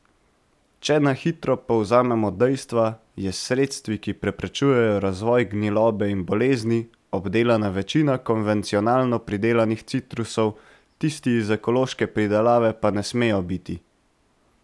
Če na hitro povzamemo dejstva, je s sredstvi, ki preprečujejo razvoj gnilobe in bolezni, obdelana večina konvencionalno pridelanih citrusov, tisti iz ekološke pridelave pa ne smejo biti.